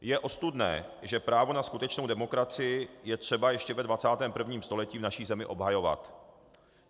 Je ostudné, že právo na skutečnou demokracii je třeba ještě ve 21. století v naší zemi obhajovat.